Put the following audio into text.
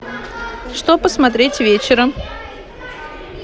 что посмотреть вечером